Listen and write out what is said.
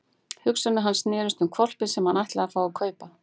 Hugsanir hans snerust um hvolpinn sem hann ætlaði að fá að kaupa.